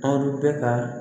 Aw bɛ ka